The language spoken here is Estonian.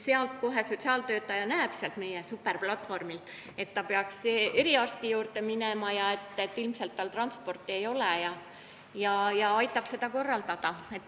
Siis sotsiaaltöötaja kohe näeb sealt meie superplatvormilt, et ta peaks eriarsti juurde minema, aga ilmselt tal transporti ei ole, ja aitab seda korraldada.